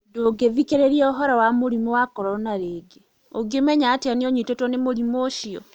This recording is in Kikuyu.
Ndũngĩthikĩrĩria ũhoro wa mũrimũ wa corona rĩngĩ: Ũngĩmenya atĩa atĩ nĩ ũnyitĩtwo nĩ mũrimũ ũcio?